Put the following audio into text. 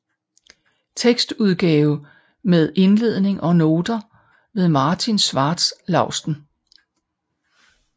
Tekstudgave med indledning og noter ved Martin Schwarz Lausten